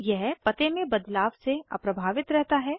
यह पते में बदलाव से अप्रभावित रहता है